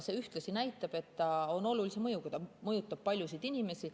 See ühtlasi näitab, et ta on olulise mõjuga, ta mõjutab paljusid inimesi.